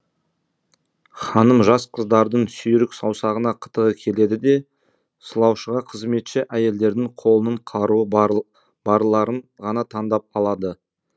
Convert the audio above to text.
ханым жас қыздардың сүйрік саусағына қытығы келеді де сылаушыға қызметші әйелдердің қолының қаруы барларын ғана таңдап алады